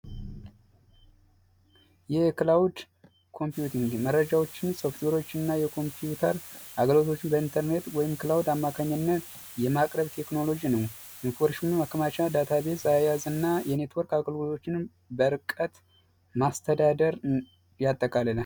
የክላውድ ኮምፒቲኢንግ መረጃዎችን ፣ሶፍትዌሮችን እና የኮምፒውተር አገልግሎቶችን በኢንተርኔት ወይም ክላውድ አማካኝነት የማቅረብ ቴክኖሎጂ ነው። ኢንፎርሜሽን ማከማቻ ዳታ ቤዝ አያያዝ እና የኔትወርክ አገልግሎቶችን በርቀት ማስተዳደር ያጠቃልላል።